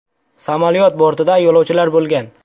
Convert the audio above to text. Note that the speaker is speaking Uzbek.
Samolyot bortida yo‘lovchilar bo‘lgan.